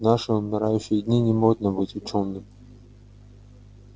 в наши умирающие дни не модно быть учёным